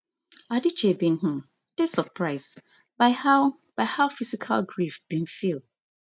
adichie bin um dey surprised by how by how physical grief bin feel